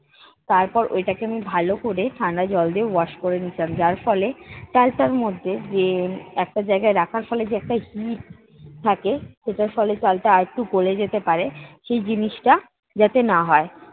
তারপর ওইটাকে আমি ভালো করে ঠান্ডা জল দিয়ে wash করে নিয়েছিলাম যার ফলে চালটার মধ্যে যে একটা জায়গায় রাখার ফলে যে একটা heat থাকে সেটার ফলে চালটা আরেকটু গোলে যেতে পারে, সেই জিনিসটা যাতে না হয়।